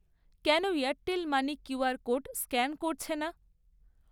কেন Airtel money QR code scan করছে না?